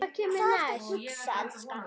Hvað ertu að hugsa, elskan?